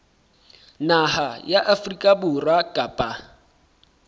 naha ya afrika borwa kapa